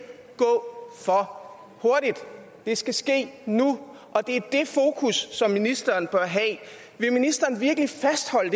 gå for hurtigt det skal ske nu og det er det fokus som ministeren bør have vil ministeren virkelig fastholde